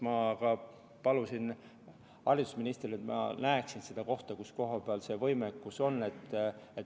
Ma palusin ka haridusministrilt, et ma näeksin seda kohta, kus see võimekus on.